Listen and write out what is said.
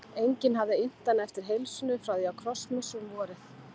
Enginn hafði innt hana eftir heilsunni frá því á krossmessu um vorið.